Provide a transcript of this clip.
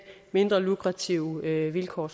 mindre lukrative vilkår